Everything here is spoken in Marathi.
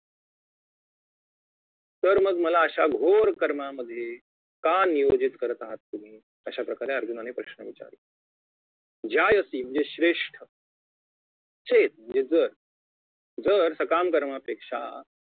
तर मग मला अशा घोर कर्मामध्ये का नियोजित करत आहात तुम्ही अशाप्रकारे अर्जुनाने प्रश्न विचारला ज्यायसी म्हणजे श्रेष्ठ चेत म्हणजे जर जर सकाम कर्मापेक्षा